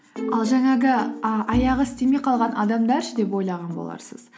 ал жаңағы ы аяғы істемей қалған адамдар ше деп ойлаған боларсыз